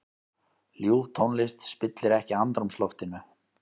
Ljúf tónlist spillir ekki andrúmsloftinu.